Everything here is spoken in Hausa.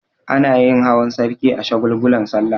Anayin hawan sarki a shagulgulan sallah